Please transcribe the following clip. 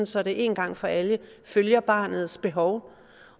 så det en gang for alle følger barnets behov